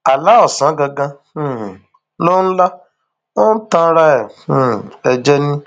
àlà ọsán gangan um ló ń lá ó ń tanra um ẹ jẹ ni